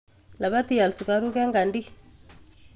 Labat ial sukaruk en kadi.